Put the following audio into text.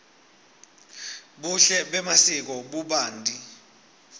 buhle bemasiko bubanti